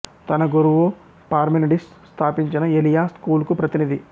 తన గురువు పార్మెనిడిస్ స్థాపించిన ఎలియా స్కూల్ కు ప్రతినిధి